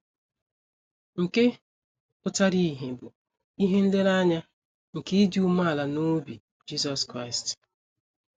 Nke pụtara ìhè bụ ihe nlereanya nke ịdị umeala n’obi Jisọs Kraịst.